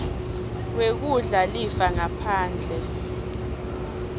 wekudla lifa ngaphandle